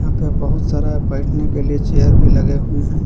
बहुत सारा बैठने के लिए चेयर भी लगे हुए हैं।